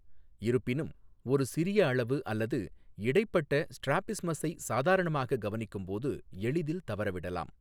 இருப்பினும், ஒரு சிறிய அளவு அல்லது இடைப்பட்ட ஸ்ட்ராபிஸ்மஸை சாதாரணமாக கவனிக்கும்போது எளிதில் தவறவிடலாம்.